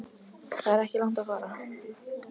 Það er ekki langt að fara.